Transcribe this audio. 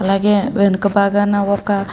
అలాగే వెనుక బాగానే ఒక --